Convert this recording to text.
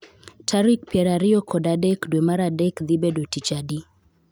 Tarik piero ariyo kod adek dwe mar adek dhi bedo tich adi